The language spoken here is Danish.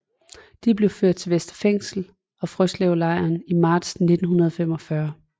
De blev ført til Vestre Fængsel og Frøslevlejren til marts 1945